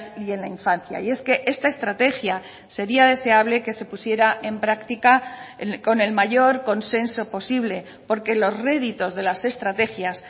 y en la infancia y es que esta estrategia sería deseable que se pusiera en práctica con el mayor consenso posible porque los réditos de las estrategias